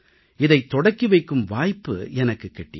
இதைத் தொடக்கி வைக்கும் வாய்ப்பு எனக்குக் கிட்டியது